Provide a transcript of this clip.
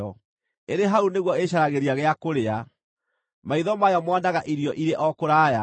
Ĩrĩ hau nĩguo ĩcaragĩria gĩa kũrĩa; maitho mayo moonaga irio irĩ o kũraya.